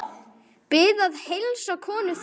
Bið að heilsa konu þinni!